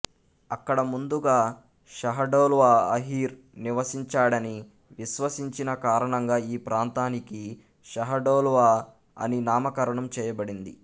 అక్కడ ముందుగా షహడోల్వా అహిర్ నివసించాడని విశ్వసించిన కారణంగా ఈ ప్రాంతానికి షహడోల్వా అని నామకరణం చేయబడింది